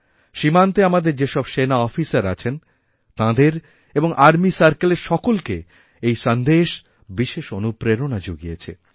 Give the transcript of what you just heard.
সীমান্তে আমাদের যেসব সেনা অফিসার আছেন তাঁদের এবংআর্মি সার্কেলের সকলকেই এই সন্দেশ বিশেষ অনুপ্রেরণা যুগিয়েছে